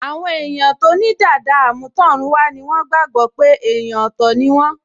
Àwọn èèyàn tó ní dàda àmútọ̀runwá ni wọ́n gbàgbọ́ pé èèyàn ọ̀tọ̀ ni wọ́n